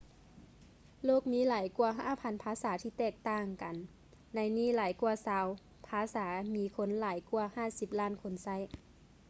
ໂລກມີຫລາຍກວ່າ 5,000 ພາສາທີ່ແຕກຕ່າງກັນ ໃນນີ້ຫຼາຍກວ່າຊາວ ພາສາທີ່ມີຄົນຫຼາຍກວ່າ 50 ລ້ານຄົນໃຊ້